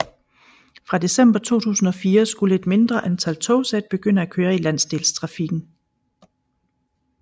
Fra december 2004 skulle et mindre antal togsæt begynde at køre i landsdelstrafikken